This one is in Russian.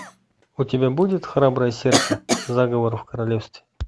у тебя будет храброе сердце заговор в королевстве